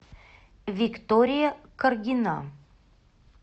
виктория каргина